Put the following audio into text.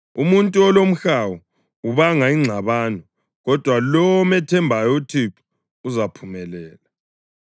Umuntu olomhawu ubanga ingxabano, kodwa lowo omethembayo uThixo uzaphumelela.